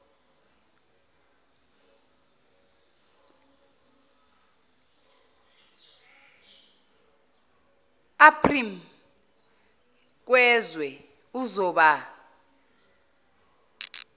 aprm ngezwe uzoba